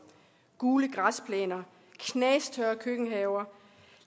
gule græsplæner knastørre køkkenhaver